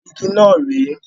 Igi náà ré è.